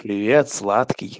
привет сладкий